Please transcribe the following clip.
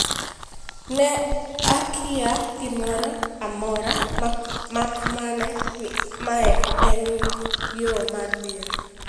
"Ne akia gimoro amora mak mana ni mae e yoo mar bero".